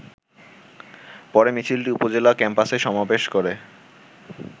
পরে মিছিলটি উপজেলা ক্যাম্পাসে সমাবেশ করে।